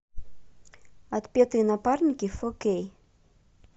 отпетые напарники фо кей